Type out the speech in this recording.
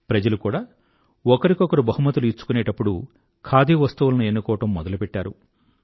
ప్రజలు కూడా ఒకరికొకరు బహుమతులు ఇచ్చుకునేప్పుడు ఖాదీ వస్తువులను ఎన్నుకోవడం మొదలుపెట్టారు